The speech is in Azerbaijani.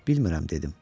Bilmirəm dedim.